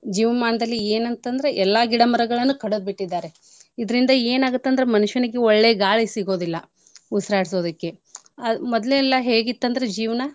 ಜೀವ್ ಮಾನ್ದಲ್ಲಿ ಏನ್ ಅಂತಂದ್ರ ಎಲ್ಲಾ ಗಿಡ ಮರಗಳ್ನು ಕಡದ್ ಬಿಟ್ಟಿದಾರೆ. ಇದ್ರಿಂದ ಏನ್ ಆಗುತ್ತಂದ್ರ ಮನುಷ್ಯನಿಗೆ ಒಳ್ಳೆ ಗಾಳಿ ಸಿಗೋದಿಲ್ಲ ಉಸಿರಾಡ್ಸೋದಕ್ಕೆ. ಆ ಮೊದ್ಲ್ ಎಲ್ಲಾ ಹೇಗಿತ್ತಂದ್ರ ಜೀವ್ನಾ.